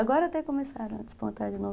Agora até começaram a despontar de novo.